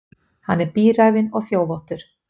Hann er bíræfinn og þjófóttur.